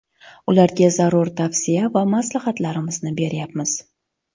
Ularga zarur tavsiya va maslahatlarimizni beryapmiz.